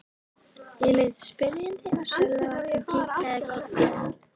Ég leit spyrjandi á Sölva sem kinkaði kolli.